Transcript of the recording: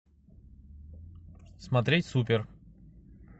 смотреть супер